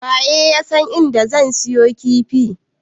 Waye yasan inda zan siyo kifi?